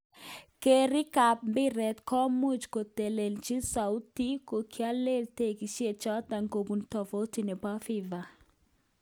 Keerik kab mbiret komuch kotelelchi soutik chekiolen tiketishe choton kobun toviti nebo fifa.